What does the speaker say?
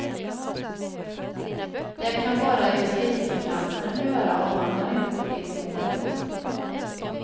Det kan bara justitiekanslern göra och han har inte gått in i målet.